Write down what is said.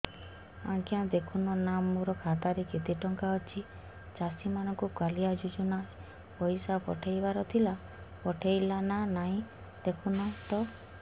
ଆଜ୍ଞା ଦେଖୁନ ନା ମୋର ଖାତାରେ କେତେ ଟଙ୍କା ଅଛି ଚାଷୀ ମାନଙ୍କୁ କାଳିଆ ଯୁଜୁନା ରେ ପଇସା ପଠେଇବାର ଥିଲା ପଠେଇଲା ନା ନାଇଁ ଦେଖୁନ ତ